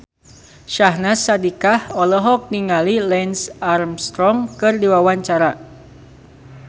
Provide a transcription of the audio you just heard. Syahnaz Sadiqah olohok ningali Lance Armstrong keur diwawancara